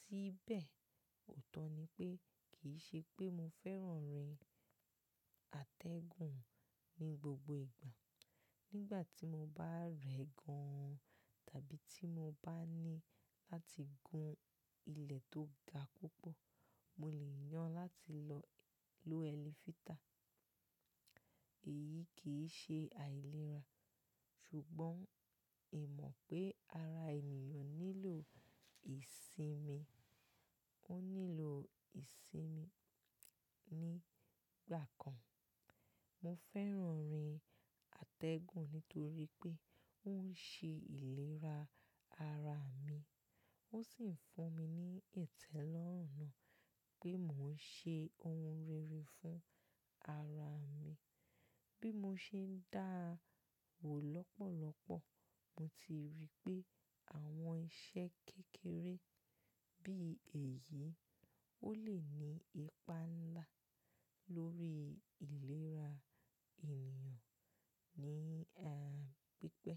Síbẹ̀, òótọ́ ni pé kì í ṣe pé mo fẹ́ràn rìn àtẹ̀gùn ní gbogbo ìgbà. Nígbà tí mo bá rẹ̀ gan-an tàbí tí mo bá ní láti gun ilẹ̀ tó ga púpọ̀, mo lè yàn láti lọ lo ẹlẹ́fìtà. Èyí kì í ṣe àìlera ṣùgbọ́n ì mọ̀ pé ara ènìyàn nílò ìsinmi, ó nílò ìsinmi nígbà kan. Mo fẹ́ràn rìn àtẹ̀gùn nítorí pé ó ń ṣe ìlera ara mi ó sì ń fún mi ní ìtẹ́lọ́rùn náà pé mò ń ṣe ohun rere fún ara mi. Bí mo ṣe ń dáwò lọ́pọ̀lọpọ̀, mo ti rí pé àwọn iṣẹ́ kékeré bí èyí ó lè ní ipa ńlá lórí ìlera ènìyàn ní àìpẹ́.